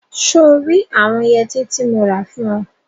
So rí àwọn yẹtí tí mo rà fún ọ?